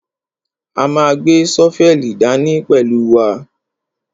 A ma gbé ṣọ́fẹ́lì dání pẹ̀lú wa.